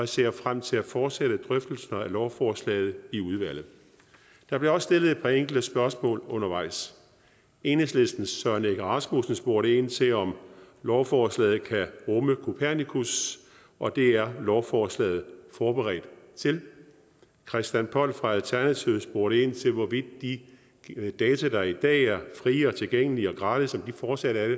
ser frem til at fortsætte drøftelserne af lovforslaget i udvalget der blev også stillet et par enkelte spørgsmål undervejs enhedslistens søren egge rasmussen spurgte ind til om lovforslaget kan rumme copernicus og det er lovforslaget forberedt til christian poll fra alternativet spurgte ind til hvorvidt de data der i dag er frie og tilgængelige og gratis fortsat